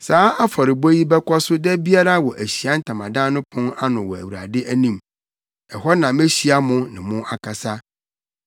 “Saa afɔrebɔ yi bɛkɔ so da biara wɔ Ahyiae Ntamadan no pon ano wɔ Awurade anim. Ɛhɔ na mehyia mo ne mo akasa.